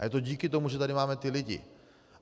A je to díky tomu, že tady máme ty lidi.